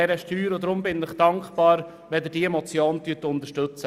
Deshalb bin ich Ihnen dankbar, wenn Sie diese Motion unterstützen.